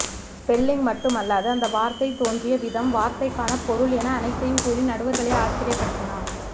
spelling மட்டுமல்லாது அந்த வார்த்தை தோன்றிய விதம் வார்த்தைக்கான பொருள் என அனைத்தையும் கூறி நடுவர்களை ஆச்சரியப்படுத்தினான்